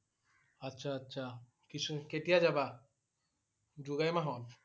আচ্ছা আচ্ছা। কিছু~কেতিয়া যাবা? জুলাই মাহত?